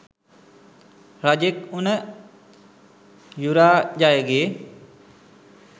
රජෙක් වුන යුරාජයගෙ